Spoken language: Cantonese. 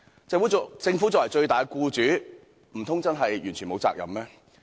政府作為最大的僱主，難道真的完全沒有責任嗎？